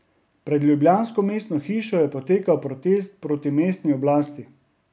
Pred ljubljansko mestno hišo je potekal protest proti mestni oblasti.